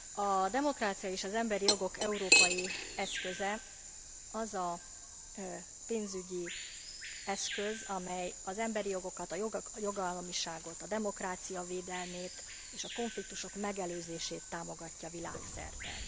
A demokrácia és az emberi jogok európai eszköze az a pénzügyi eszköz, amely az emberi jogokat, a jogállamiságot, a demokrácia védelmét és a konfliktusok megelőzését támogatja világszerte.